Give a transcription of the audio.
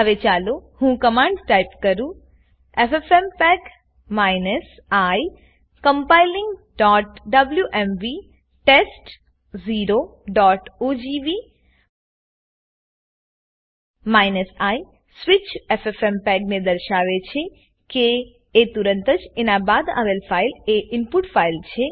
હવે ચાલો હું કમાંડ ટાઈપ કરું એફએફએમપેગ i compilingડબ્લ્યુએમવી test0ઓજીવી i સ્વીચ ffmpegને દર્શાવે છે કે એ તુરંતજ એના બાદ આવેલ ફાઈલ એ ઈનપુટ ફાઈલ છે